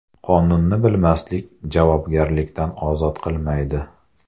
Qonunni bilmaslik javobgarlikdan ozod qilmaydi.